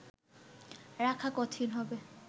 রাখা কঠিন হবে